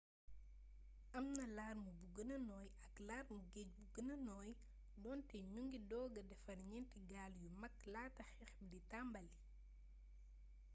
am na larme bu gëna nooy ak larmee geej bu gëna nooy doonte ñu ngi dooga defar ñeenti gaal yu mag laata xeex b d tàmbalii